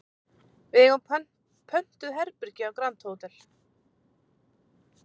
Við eigum pöntuð herbergi á Grand Hotel